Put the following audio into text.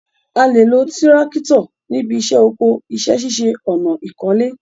A lè lo tírákítọ̀ níbi iṣẹ́ oko, iṣẹ́ ṣíṣe ọ̀nà, ìkọ́lé